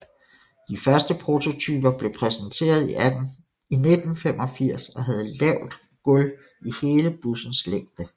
De første prototyper blev præsenteret i 1985 og havde lavt gulv i hele bussens længde